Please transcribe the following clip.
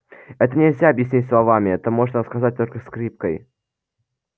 это нельзя объяснить словами это можно рассказать только скрипкой